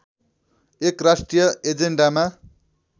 एक राष्ट्रिय एजेन्डामा